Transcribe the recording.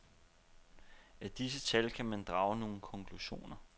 Af disse tal kan man drage nogle konklusioner.